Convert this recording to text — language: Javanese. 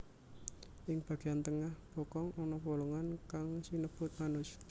Ing bageyan tengah bokong ana bolongan kang sinebut anus